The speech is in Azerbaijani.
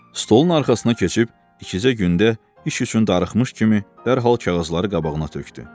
Stolun arxasına keçib ikicə gündə iş üçün darıxmış kimi dərhal kağızları qabağına tökdü.